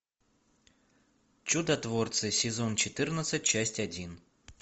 чудотворцы сезон четырнадцать часть один